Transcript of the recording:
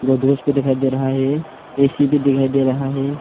और ड्रेस भी दिखाई दे रहा है ऐ_सी भी दिखाई दे रहा है।